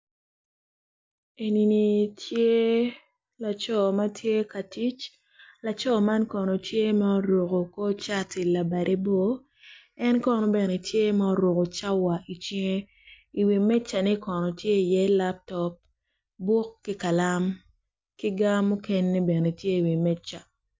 Enini ce laco ma tye ka tic laco man kono ce ma oruku kor cati labade bor en kono bene ce ma oruku cawa i cinge i wi mejane kono ce iye laptop buk ki kalam ki ga mukene bene ce i wi meja